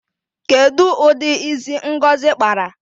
Kedu udi isi ngozi kpara?